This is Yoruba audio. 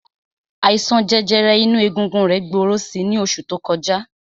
Àìsàn jẹjẹrẹ inú egungun rẹ̀ gbòòrò si ní oṣù tó kọjá.